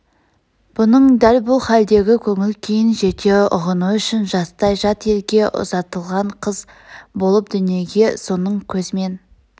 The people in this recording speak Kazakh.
бұның дәл бұл халдегі көңіл күйін жете ұғыну үшін жастай жат елге ұзатылған қыз болып дүниеге соның көзмен